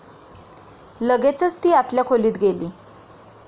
लगेचच ती आतल्या खोलीत गेली.